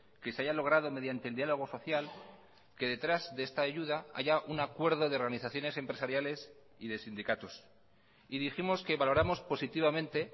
que se haya logrado mediante el diálogo social que detrás de esta ayuda haya un acuerdo de organizaciones empresariales y de sindicatos y dijimos que valoramos positivamente